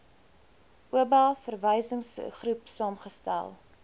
oba verwysingsgroep saamgestel